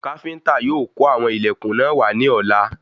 Káfíntà yóò kó àwọn ilẹkùn náà wà ní ọ̀la